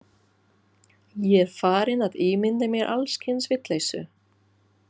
Ég er farinn að ímynda mér alls kyns vitleysu.